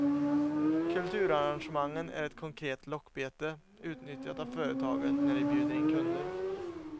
Kulturarrangemangen är ett konkret lockbete, utnyttjat av företagen när de bjuder in kunder.